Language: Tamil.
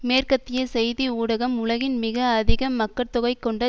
மேற்கத்திய செய்தி ஊடகம் உலகின் மிக அதிக மக்கட்தொகை கொண்ட